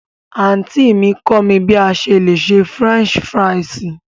Anti mi kọ mi bí à sẹ le sè French fírìsí.